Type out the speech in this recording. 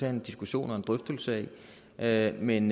en diskussion og en drøftelse af men